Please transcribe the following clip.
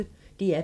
DR P1